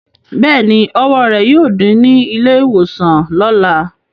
Bẹ́ẹ̀ni, ọwọ́ rẹ̀ yóò dí ní ilé-ìwòsàn lọ̀la.